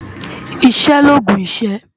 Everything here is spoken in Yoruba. Iṣè lógún iṣë